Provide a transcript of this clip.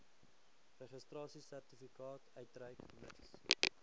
registrasiesertifikaat uitreik mits